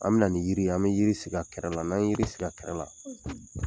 An bi na ni yiriw ye , an bi yiri sigi ka kɛrɛ la. N'an ye yiri sigi ka kɛrɛ la